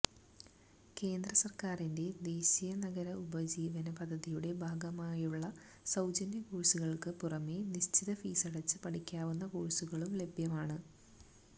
കേന്ദ്ര സർക്കാരിന്റെ ദേശീയനഗര ഉപജീവന പദ്ധതിയുടെ ഭാഗമായുള്ള സൌജന്യ കോഴ്സുകൾക്ക് പുറമേ നിശ്ചിത ഫീസടച്ച് പഠിക്കാവുന്ന കോഴ്സുകളും ലഭ്യമാണ്